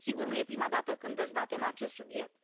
Sigur, nu e prima dată când dezbatem acest subiect.